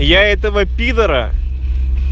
я этого пидора